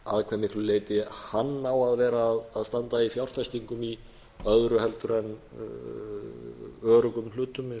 að hve miklu leyti hann á að vera að standa í fjárfestingum í öðru en öruggum hlutum